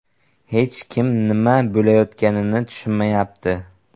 Hech kim nima bo‘layotganini tushunmayapti.